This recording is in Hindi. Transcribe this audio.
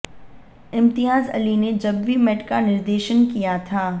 इम्तियाज अली ने जब वी मेट का निर्देशन किया था